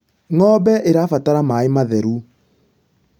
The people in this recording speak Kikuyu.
ng'ombe irabatara maĩ matheru